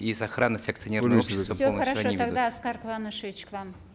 и сохранность акционерного тогда аскар куанышевич к вам